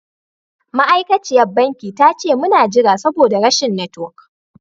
Ma'aikaciya banki ta ce mun na jira saboda rashin network.